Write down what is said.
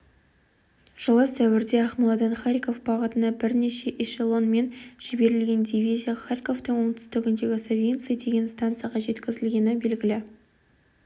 жылы сәуірде ақмоладан харьков бағытына бірнеше эшелонмен жіберілген дивизия харьковтың оңтүстігіндегі савинцы деген стансаға жеткізілгені белгілі